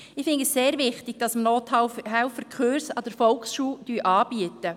Ich finde es sehr wichtig, dass wir Nothilfe-Kurse an der Volksschule anbieten.